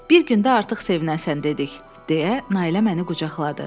Bir gün də artıq sevinəsən dedik, deyə Nailə məni qucaqladı.